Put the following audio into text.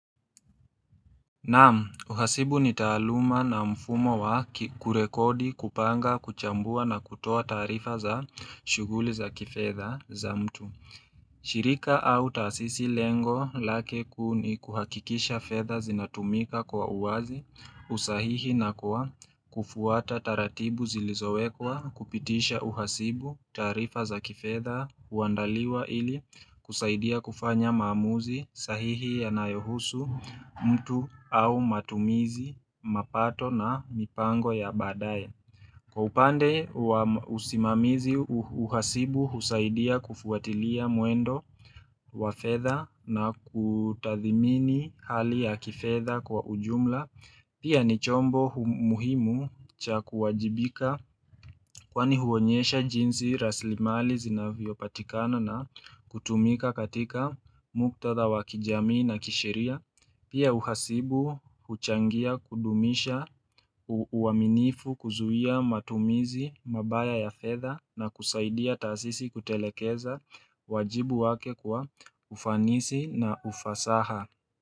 Naam, uhasibu ni taaluma na mfumo wa kurekodi, kupanga, kuchambua na kutoa taarifa za shughuli za kifedha za mtu. Shirika au taasisi lengo lake kuu ni kuhakikisha fedha zinatumika kwa uwazi usahihi na kwa kufuata taratibu zilizowekwa kupitisha uhasibu taarifa za kifedha huandaliwa ili kusaidia kufanya maamuzi sahihi yanayohusu mtu au matumizi, mapato na mipango ya baadaye. Kwa upande wa usimamizi uhasibu husaidia kufuatilia mwendo wa fedha na kutathimini hali ya kifedha kwa ujumla. Pia ni chombo muhimu cha kuwajibika kwani huonyesha jinsi rasilimali zinavyo patikana na kutumika katika muktatha wa kijamii na kisheria. Pia uhasibu, huchangia, kudumisha, uaminifu, kuzuia, matumizi, mabaya ya fedha na kusaidia taasisi kutelekeza wajibu wake kwa ufanisi na ufasaha.